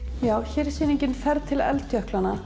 hér er sýningin ferð til